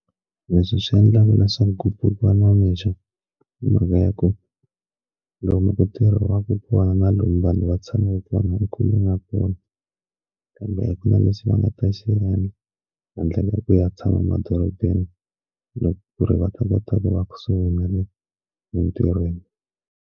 Leswi swi endlaka leswaku ke pfukiwa namixo i mhaka ya ku lomu ku tirhiwaka kona na lomu vanhu va tshama kona kule na kona kambe a kuna lexi va nga ta xiendla handle ka ku ya tshama emadorobeni loko ku ri va ta kota ku va kusuhi na le entirhweni.